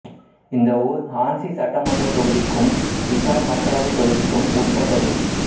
இந்த ஊர் ஹான்சி சட்டமன்றத் தொகுதிக்கும் ஹிசார் மக்களவைத் தொகுதிக்கும் உட்பட்டது